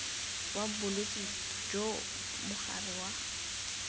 wa bolwetse jo mogare wa